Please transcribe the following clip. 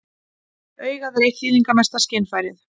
Augað er eitt þýðingarmesta skynfærið.